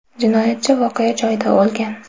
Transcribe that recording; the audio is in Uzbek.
Jinoyatchi voqea joyida o‘lgan.